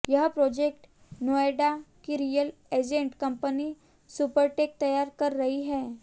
यह प्रोजेक्ट नोएडा की real estate company Supertech तैयार कर रही है